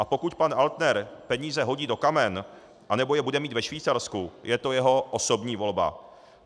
A pokud pan Altner peníze hodí do kamen nebo je bude mít ve Švýcarsku, je to jeho osobní volba.